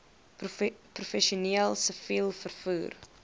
professioneel siviel vervoer